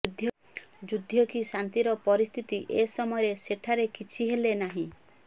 ଯୁଦ୍ଧ କି ଶାନ୍ତିର ପରିସ୍ଥିତି ଏ ସମୟରେ ସେଠାରେ କିଛି ହେଲେ ନାହିଁ